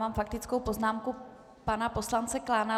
Mám faktickou poznámku pana poslance Klána.